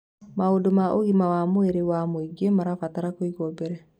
Maũndũ ma ũgima wa mwĩrĩ wa mũingĩ marabatara kũigwo mbere.